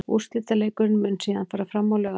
Úrslitaleikurinn mun síðan fara fram á laugardaginn.